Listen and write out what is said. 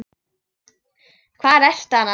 Hvar ertu annars?